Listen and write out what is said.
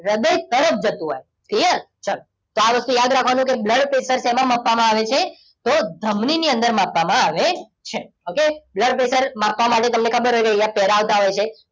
હૃદય તરફ જતો હોય clear ચાલો. આ વસ્તુ યાદ રાખવાની છે blood pressure શેમાં માપવામાં આવે છે? તો ધમની ની અંદર માપવામાં આવે છે. okay blood pressure માપવા માટે તમને ખબર છે કે આવતા હોય છે.